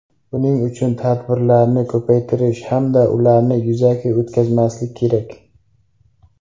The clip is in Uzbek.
Buning uchun tadbirlarni ko‘paytirish hamda ularni yuzaki o‘tkazmaslik kerak.